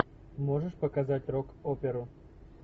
можешь показать рок оперу